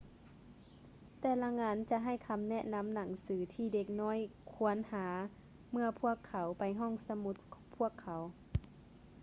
ແຕ່ລະງານຈະໃຫ້ຄໍາແນະນໍາໜັງສືທີ່ເດັກນ້ອຍຄວນຫາເມື່ອພວກເຂົາໄປຫ້ອງສະໝຸດພວກເຂົາ